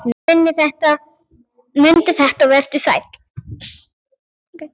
Mundu þetta og vertu sæll!